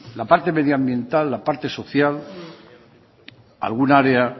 la parte medioambiental la parte social algún área